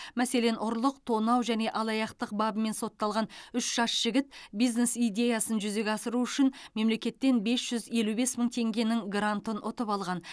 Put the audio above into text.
мәселен ұрлық тонау және алаяқтық бабымен сотталған үш жас жігіт бизнес идеясын жүзеге асыру үшін мемлекеттен бес жүз елу бес мың теңгенің грантын ұтып алған